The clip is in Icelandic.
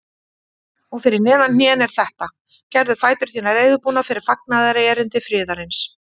Og fyrir neðan hnén er þetta: Gerðu fætur þína reiðubúna fyrir fagnaðarerindi friðarins.